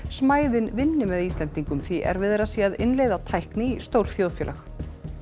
smæðin vinni með Íslendingum því erfiðara sé að innleiða tækni í stór þjóðfélög